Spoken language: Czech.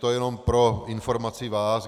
To jenom pro informaci vás.